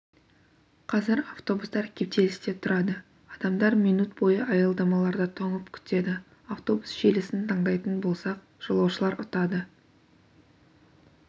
қазір автобустар кептелісте тұрады адамдар минут бойы аялдамаларда тоңып күтеді автобус желісін таңдайтын болсақ жолаушылар ұтады